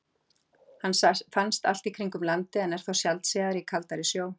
hann finnst allt í kringum landið en er þó sjaldséðari í kaldari sjó